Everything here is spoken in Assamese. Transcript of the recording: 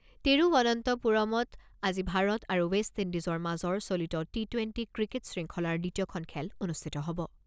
তিৰুৱনন্তপুৰমত আজি ভাৰত আৰু ৱেষ্ট ইণ্ডিজৰ মাজৰ চলিত টি টুৱেণ্টি ক্ৰিকেট শৃংখলাৰ দ্বিতীয়খন খেল অনুষ্ঠিত হ'ব।